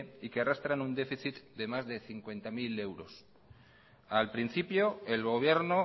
y que arrastran un déficit de más de cincuenta mil euros al principio el gobierno